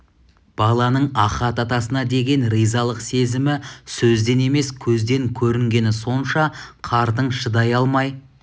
баланың ахат атасына деген ризалық сезімі сөзден емес көзден көрінгені сонша қартың шыдай алмай